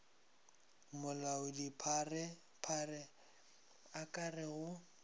molaodipharephare a ka re go